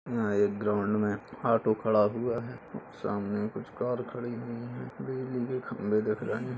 यहाँ एक ग्राउंड में ऑटो खड़ा हुआ है। सामने कुछ कार खड़ी हुई हैं। बिजली के खंबे दिख रहे --